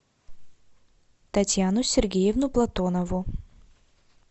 татьяну сергеевну платонову